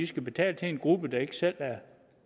skal betale til en gruppe der ikke selv er